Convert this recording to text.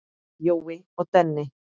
Jói og Denni.